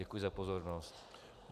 Děkuji za pozornost.